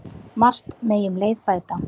Margt megi um leið bæta.